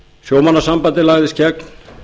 sjómannasambandið lagðist gegn